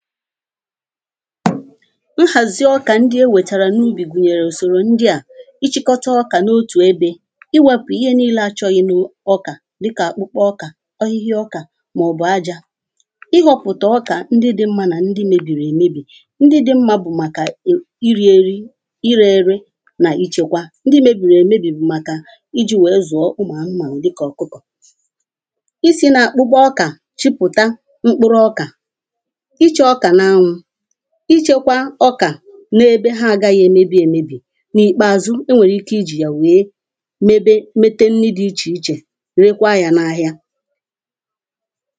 nhazì ọkà ndị̀ e weterè na ubì gunyerè usorò ndị̀ a Íchịkọtà ọkạ nà otù ebè Iwepù ihè niilè achọghị̀nụ̀ Ọka dịkà mkpụrụ ọkà Ọhịhị ọka maọbụ̀ ajà Ịhọpụta ọkà ndị̀ mmà na ndị̀ mebiri emebi Ndị̀ dị̀ mmà bụ̀ makà iri erì Irerè nà ichekwà ndị̀ mebiri emebi bụ̀ makà Iji weè zúọ̀ ụmụanụmanụ̀ dịkà ọkụkọ Isi nà akpụkpọ ọka chụpụta mkpụrụọka Ịchọ ọkà na anwụ Ịchọkwà ọkà na ebè ha agaghị̀ emebi emebi Na ikpeazụ̀ o nwerè ike iji ya wee mebe metè nni dị iche iche rekwa yà na ahịà